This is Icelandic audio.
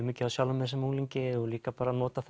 mikið á sjálfum mér sem unglingi og líka bara nota